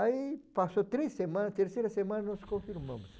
Aí passou três semanas, terceira semana nós confirmamos